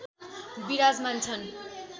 विराजमान छन्